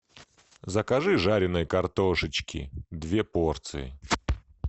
закажи жареной картошечки две порции